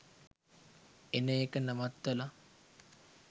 එන එක නවත්තලා.